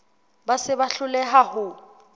ba se ba hloleha ho